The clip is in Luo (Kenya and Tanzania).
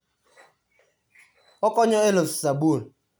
Okonyo e loso sabun.